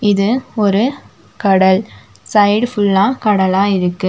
இது ஒரு கடல் சைடு ஃபுல்லா கடலா இருக்கு.